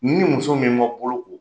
Ni muso min ma bolo ko